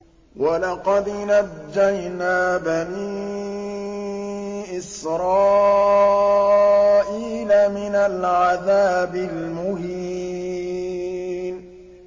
وَلَقَدْ نَجَّيْنَا بَنِي إِسْرَائِيلَ مِنَ الْعَذَابِ الْمُهِينِ